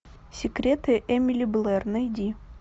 секреты эмили блэр найди